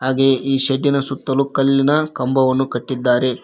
ಹಾಗೆ ಈ ಶೆಡ್ಡಿನ ಸುತ್ತಲೂ ಕಲ್ಲಿನ ಕಂಬವನ್ನು ಕಟ್ಟಿದ್ದಾರೆ.